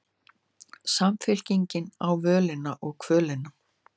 Samfylkingin á völina og kvölina